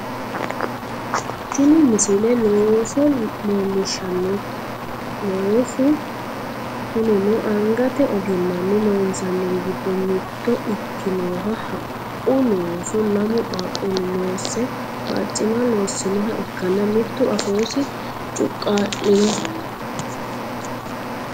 tini misile looso leellishshannote loosu kunino angate ogimmanni loonsaniri giddo mitto ikkinoha haqqu looso lamu qaaqquulli loosse barcima loossinoha ikkanna mittu afoosi cuqqaa'linoho